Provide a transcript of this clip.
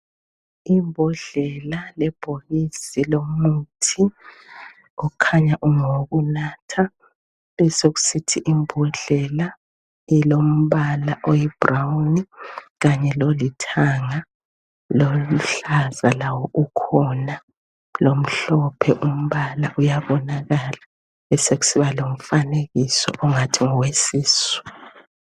Imbodlela lebhokisi lomuthi okhanya ungowokunatha besokusithi imbodlela elombala oyibrown Kanye lolithanga loluhlaza lawo ukhona lomhlophe umbala uyabonakala besokusiba lomfanekiso ongathi ngowesisu.